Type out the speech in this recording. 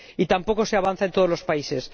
Y tampoco se avanza en todos los países.